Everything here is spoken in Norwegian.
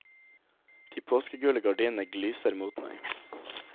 De påskegule gardinene glyser mot meg.